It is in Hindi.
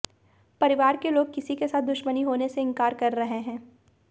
परिवार के लोग किसी के साथ दुश्मनी होने से इंकार कर रहे हैं